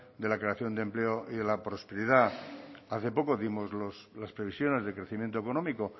de la creación de empleo y de la prosperidad hace poco dimos las previsiones de crecimiento económico